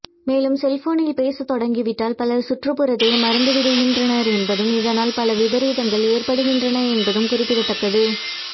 மேலும் செல்போனில் பேச தொடங்கிவிட்டால் பலர் சுற்றுப்புறத்தையே மறந்துவிடுகின்றனர் என்பதும் இதனால் பல விபரீதங்கள் ஏற்படுகின்றன என்பதும் குறிப்பிடத்தக்கது